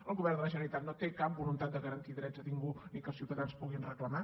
el govern de la generalitat no té cap voluntat de garantir drets a ningú ni que els ciutadans puguin reclamar